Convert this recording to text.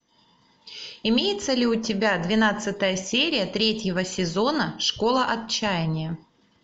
имеется ли у тебя двенадцатая серия третьего сезона школа отчаяния